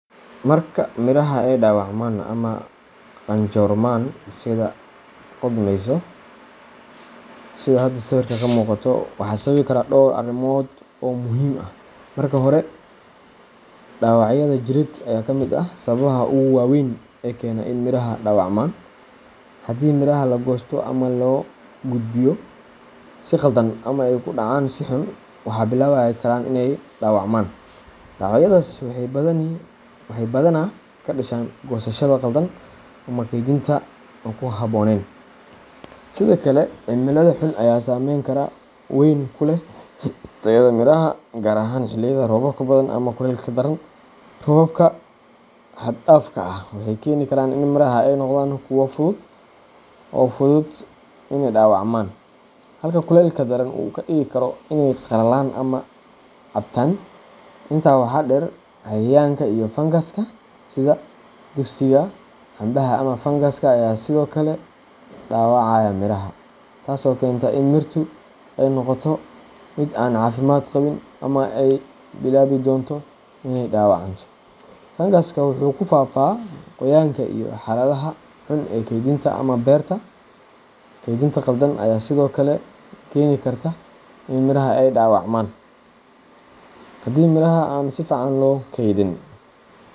Marka miraha ay dawacmaan ama qanjorman sida qudhmayso, sidaa xada sawirka ka muqato waxaa sababi kara dhowr arrimood oo muhiim ah. Marka hore, dhaawacyada jireed ayaa ka mid ah sababaha ugu waaweyn ee keena in miraha dawacmaan. Haddii miraha la goosto ama loo gudbiyo si khaldan ama ay ku dhacaan si xun, waxay bilaabi karaan inay dawacmaan. Dhaawacyadaas waxay badanaa ka dhashaan goosashada khaldan ama kaydinta aan ku habboonayn. Sidoo kale, cimilada xun ayaa saameyn weyn ku leh tayada miraha, gaar ahaan xilliyada roobka badan ama kulaylka daran. Roobabka xad dhaafka ah waxay keeni karaan in miraha ay noqdaan kuwo fudud oo fudud in dhaawacmaan, halka kulaylka daran uu ka dhigi karo inay qallalaan ama cabtaan. Intaa waxaa dheer, cayayaanka iyo fangaska sida duqsiga cambaha ama fangaska ayaa sidoo kale dhaawacaya miraha, taasoo keenta in mirtu ay noqoto mid aan caafimaad qabin ama ay bilaabi doonto inay dawacanto. Fangasku wuxuu ku faafaa qoyaanka iyo xaaladaha xun ee kaydinta ama beerta. Kaydinta khaldan ayaa sidoo kale keeni karta in miraha ay dawacmaan. Haddii miraha aan si fiican loo kaydin.